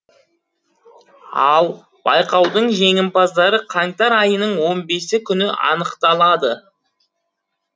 ал байқаудың жеңімпаздары қаңтар айының он бесі күні анықталады